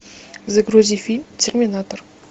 загрузи фильм терминатор